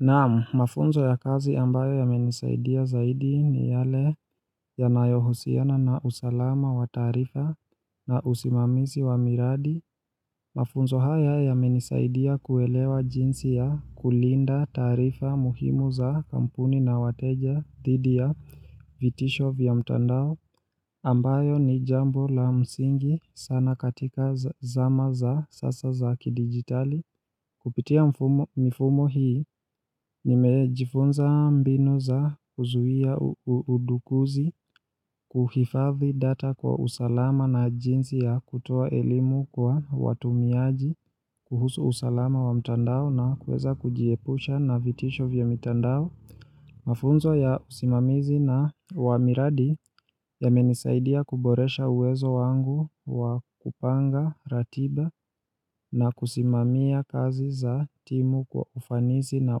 Naamu, mafunzo ya kazi ambayo yamenisaidia zaidi ni yale yanayohusiana na usalama wa tarifa na usimamisi wa miradi. Mafunzo haya yamenisaidia kuelewa jinsi ya kulinda tarifa muhimu za kampuni na wateja dhidi ya vitisho vya mtandao ambayo ni jambo la msingi sana katika zama za sasa za kidigitali. Kupitia mifumo hii, nimejifunza mbinu za kuzuia udukuzi kuhifathi data kwa usalama na jinsi ya kutua elimu kwa watumiaji, kuhusu usalama wa mtandao na kweza kujiepusha na vitisho vya mtandao. Mafunzo ya usimamizi na wa miradi yamenisaidia kuboresha uwezo wangu wa kupanga, ratiba na kusimamia kazi za timu kwa ufanizi na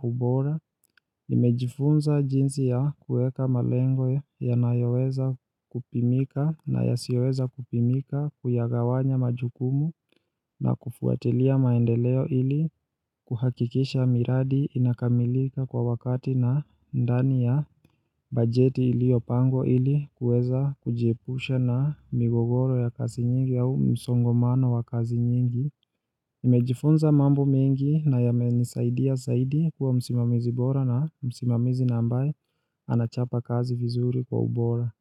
ubora. Imejifunza jinsi ya kueka malengo ya nayoweza kupimika na yasioweza kupimika kuyagawanya majukumu na kufuatilia maendeleo ili kuhakikisha miradi inakamilika kwa wakati na ndani ya bajeti iliopangwa ili kueza kujiepushe na migogoro ya kasi nyingi au msongomano wa kazi nyingi Imejifunza mambo mingi na ya menisaidia saidi kuwa msimamizi bora na msimamizi nambaye anachapa kazi vizuri kwa ubora.